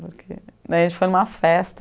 Daí, a gente foi em uma festa.